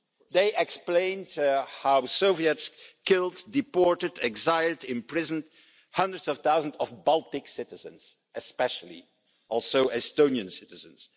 They explained how the Soviets killed, deported, exiled, imprisoned hundreds of thousands of Baltic citizens, especially also Estonian citizens.